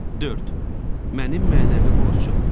Mənim mənəvi borcum.